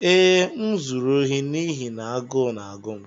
Ee, m zuru ohi n'ihi na agụụ na-agụ m.